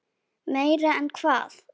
Meira en hvað?